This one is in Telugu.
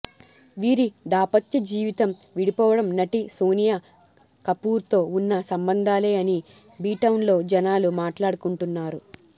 వీరి దాపత్య జీవితం విడిపోవడం నటి సోనియా కపూర్తో వున్న సంబంధాలే అని బి టౌన్ లో జనాలు మాట్లాడుకుంటున్నారు